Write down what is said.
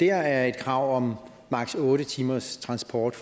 er et krav om maksimum otte timers transport